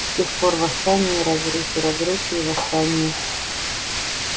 с тех пор восстания и разрухи разрухи и восстания